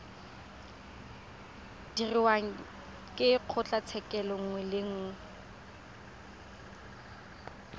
dirwang ke kgotlatshekelo nngwe le